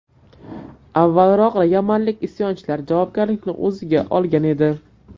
Avvalroq yamanlik isyonchilar javobgarlikni o‘ziga olgan edi.